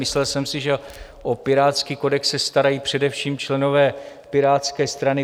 Myslel jsem si, že o pirátský kodex se starají především členové Pirátské strany.